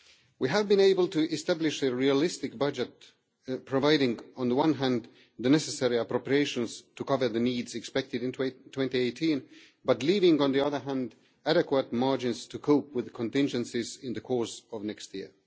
We have been able to establish a realistic budget providing on the one hand the necessary appropriations to cover the needs expected in 2018, but leaving on the other hand adequate margins to cope with the contingencies in the course of next year.